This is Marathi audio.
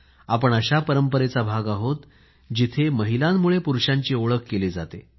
आपण अशा परंपरेचा भाग आहोत जिथे महिलांमुळे पुरुषांची ओळख केली जाते